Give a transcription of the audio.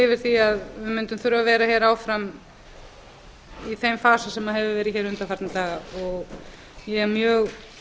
yfir því að við mundum þurfa að vera hér áfram í þeim fasa sem hefur verið hér undanfarna daga ég er mjög